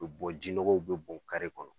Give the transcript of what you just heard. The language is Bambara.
U bi bɔ jinɔgɔw be bɔ kare kɔnɔ.